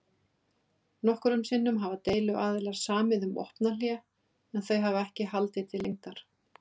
Nokkrum sinnum hafa deiluaðilar samið um vopnahlé en þau hafa ekki haldið til lengdar.